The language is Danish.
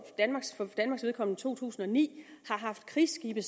danmarks vedkommende to tusind og ni har haft krigsskibe